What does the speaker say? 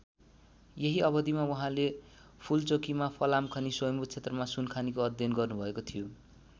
यही अवधिमा उहाँले फूलचोकीमा फलाम खानी र स्वयम्भु क्षेत्रमा सुनखानीको अध्ययन गर्नुभएको थियो।